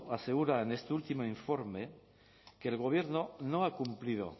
asegura en este último informe que el gobierno no ha cumplido